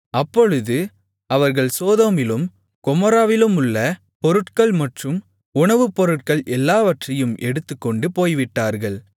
அப்பொழுது அவர்கள் சோதோமிலும் கொமோராவிலுமுள்ள பொருட்கள் மற்றும் உணவுப்பொருட்கள் எல்லாவற்றையும் எடுத்துக்கொண்டு போய்விட்டார்கள்